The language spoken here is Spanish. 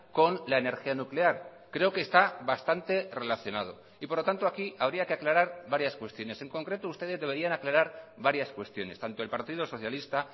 con la energía nuclear creo que está bastante relacionado y por lo tanto aquí habría que aclarar varias cuestiones en concreto ustedes deberían aclarar varias cuestiones tanto el partido socialista